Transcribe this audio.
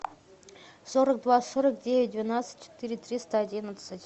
сорок два сорок девять двенадцать четыре триста одиннадцать